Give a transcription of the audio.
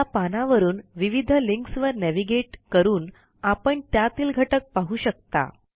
या पानावरून विविध लिंक्सवर नेव्हिगेट करून आपण त्यातील घटक पाहू शकता